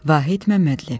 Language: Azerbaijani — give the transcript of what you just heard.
Vahid Məmmədli.